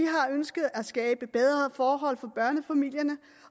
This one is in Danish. ønsket at skabe bedre forhold for børnefamilierne